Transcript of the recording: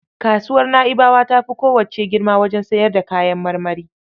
Kasuwar Na'ibawa ta fi kowacce girma wajen sayar da kayan marmari.